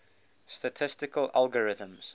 statistical algorithms